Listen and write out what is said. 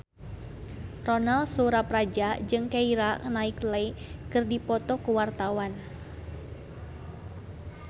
Ronal Surapradja jeung Keira Knightley keur dipoto ku wartawan